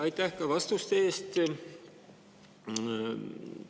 Aitäh ka vastuste eest!